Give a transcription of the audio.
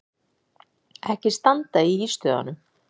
Ekki standa í ístöðunum!